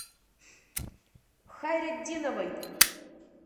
хайретдиновой